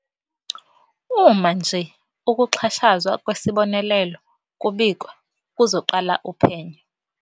"Uma nje ukuxhashazwa kwesibonelelo kubikwa, kuzoqala uphenyo."